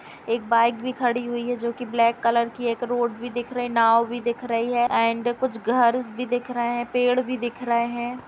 एक बाइक भी खड़ी हुई है जो कि ब्लैक कलर की है। एक रोड भी दिख रही नाव भी दिख है एंड कुछ घर्स भी दिख रहे हैं। पेड़ भी दिख रहे हैं।